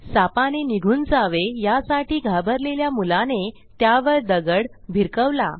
सापाने निघून जावे यासाठी घाबरलेल्या मुलाने त्यावर दगड भिरकवला